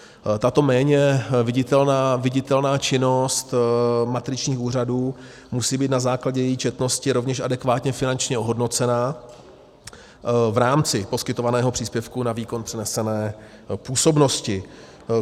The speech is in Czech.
Tato méně viditelná činnost matričních úřadů musí být na základě její četnosti rovněž adekvátně finančně ohodnocena v rámci poskytovaného příspěvku na výkon přenesené působnosti.